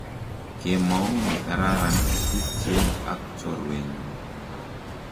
kemou ne karan tupche aak chorwe nyu